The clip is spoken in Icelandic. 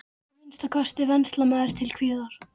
Að minnsta kosti venslamaður til kviðar!